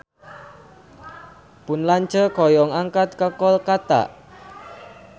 Pun lanceuk hoyong angkat ka Kolkata